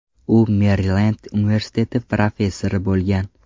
U Merilend universiteti professori bo‘lgan.